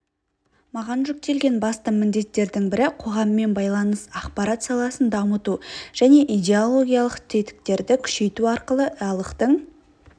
маған жүктелген басты міндеттердің бірі қоғаммен байланыс ақпарат саласын дамыту және идеологиялық тетіктерді күшейту арқылы іалықтың